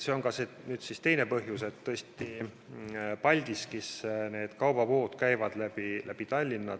See on see teine põhjus, et Paldiskisse lähevad kaubavood läbi Tallinna.